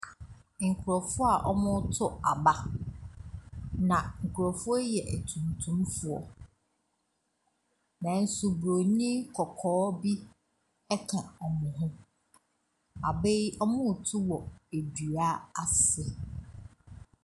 Nkurɔfo a wɔreto aba, na nkurɔfoɔ yi yɛ atuntumfoɔ nanso bronin kɔkɔɔ bi ka wɔn ho. Aba yi, wɔreto wɔ dua ase.